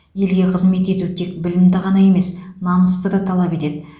елге қызмет ету тек білімді ғана емес намысты да талап етеді